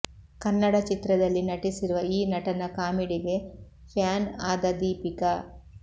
ಕನ್ನಡ ಚಿತ್ರದಲ್ಲಿ ನಟಿಸಿರುವ ಈ ನಟನ ಕಾಮಿಡಿಗೆ ಫ್ಯಾನ್ ಆದ ದೀಪಿಕಾ